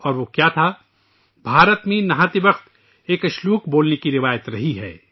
اور وہ کیا تھا ، ہندوستان میں غسل کرتے وقت ایک شلوک پڑھنے کی روایت رہی ہے